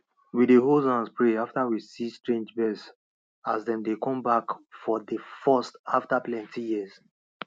we hold hands pray after we see strange birds as dem dey come back for dey first after plenty years